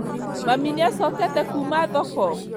Mami nĩacokete kuma thoko?